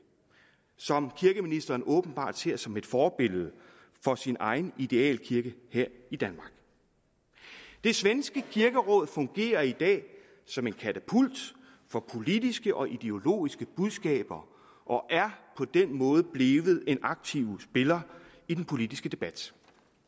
som kirkeministeren åbenbart ser som et forbillede for sin egen idealkirke her i danmark det svenske kirkeråd fungerer i dag som en katapult for politiske og ideologiske budskaber og er på den måde blevet en aktiv spiller i den politiske debat